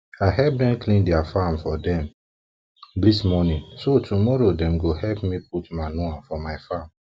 i help dem clean their farm for dem dis house this morning so tomorrow dem go help me put manure for my farm